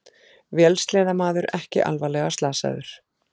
Vélsleðamaður ekki alvarlega slasaður